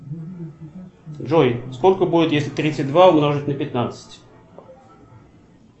джой сколько будет если тридцать два умножить на пятнадцать